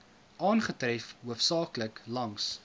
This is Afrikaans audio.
aangetref hoofsaaklik langs